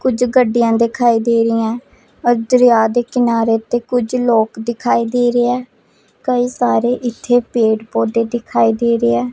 ਕੁਝ ਗੱਡੀਆਂ ਦਿਖਾਈ ਦੇ ਰਹੀਐਂ ਦਰਿਆ ਦੇ ਕਿਨਾਰੇ ਤੇ ਕੁਝ ਲੋਕ ਦਿਖਾਈ ਦੇ ਰਏ ਐ ਕਈ ਸਾਰੇ ਇੱਥੇ ਪੇੜ ਪੌਧੇ ਦਿਖਾਈ ਦੇ ਰਏ ਐ।